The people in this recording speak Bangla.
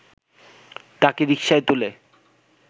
তাঁকে রিকশায় তুলে